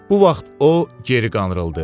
Bu vaxt o geri qandırıldı.